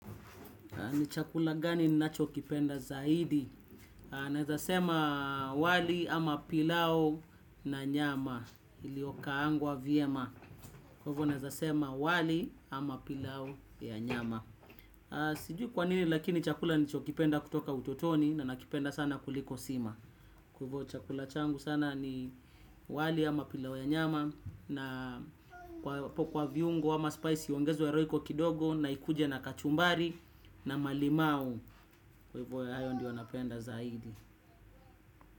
Ni chakula gani ninacho kipenda zaidi? Naweza sema wali ama pilau na nyama. Iliyokaangwa vyema. Hivyo naweza sema wali ama pilau ya nyama. Sijui kwa nini lakini chakula nilichokipenda kutoka utotoni na nakipenda sana kuliko sima. Kwa hivyo chakula changu sana ni wali ama pilau ya nyama. Na hapo kwa viungo ama spice iongezwe roiko kidogo na ikuje na kachumbari na malimau. Kwa hivyo hayo ndio napenda zaidi.